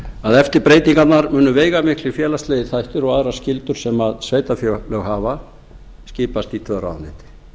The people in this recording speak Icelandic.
að eftir breytingarnar munu veigamiklir félagslegir þættir og aðrar skyldur sem sveitarfélög hafa skipað skipti þau um ráðuneyti